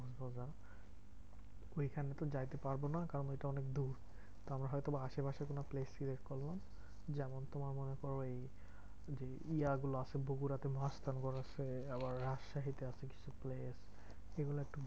ঐখানে তো যাইতে পারবো না। কারণ ওইটা অনেক দূর। তো আমরা হয়তো বা আশেপাশে কোনো place select করলাম যেমন তোমার মনে করো এই যে ইয়া গুলো সেই বগুড়া তে আছে আবার রাজশাহী তে আছে কিছু place এগুলা একটু